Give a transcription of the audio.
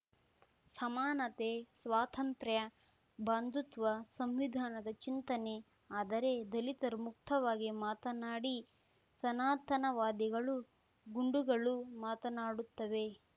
ಸಮಾನತೆ ಸ್ವಾತಂತ್ರ್ಯ ಬಂಧುತ್ವ ಸಂವಿಧಾನದ ಚಿಂತನೆ ಆದರೆ ದಲಿತರು ಮುಕ್ತವಾಗಿ ಮಾತನಾಡಿ ಸನಾತನವಾದಿಗಳು ಗುಂಡುಗಳು ಮಾತನಾಡುತ್ತವೆ